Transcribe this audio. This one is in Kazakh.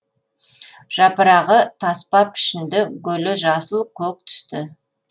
жапырағы таспа пішінді гүлі жасыл көк түсті